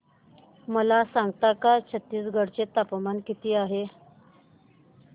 मला सांगता का छत्तीसगढ चे तापमान किती आहे